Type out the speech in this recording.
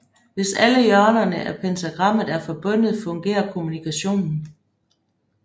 Hvis alle hjørnerne af pentagrammet er forbundet fungerer kommunikationen